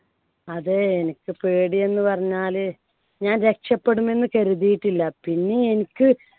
അതെ എനിക്ക് പേടിയെന്ന് പറഞ്ഞാല് ഞാൻ രക്ഷപ്പെടുമെന്ന് കരുതിയിട്ടില്ല. പിന്നെ എനിക്ക്